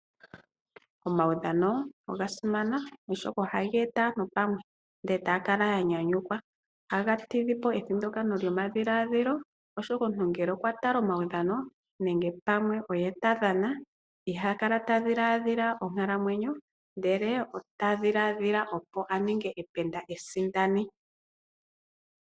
Omaudhano oga simana oshoka oha geeta aantu pamwe ndele etaya kala ya nyanyukwa. Ohaga tidha po ethindakano lyomadhiladhilo oshoka omuntu ngele okwa tala omaudhano nenge pamwe oye ta dhana iha kala ta dhiladhila onkalamwenyo ndele ota dhiladhila opo aninge ependa esindani.